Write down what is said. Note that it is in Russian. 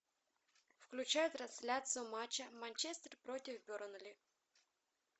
включай трансляцию матча манчестер против бернли